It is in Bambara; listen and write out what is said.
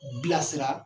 Bilasira